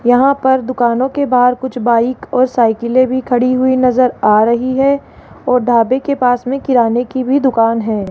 यहां पर दुकानों के बाहर कुछ बाइक और साइकिलें भी खड़ी हुई नजर आ रही है और ढाबे के पास में किराने की भी दुकान है।